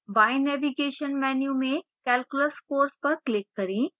बाएं navigation menu में calculus course पर click करें